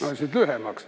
Ma mõtlesin, et lühemaks.